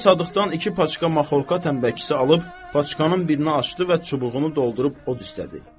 Molla Sadıqdan iki paçka maxorka tənbəkisi alıb, paçkanın birini açdı və çubuğunu doldurub od istədi.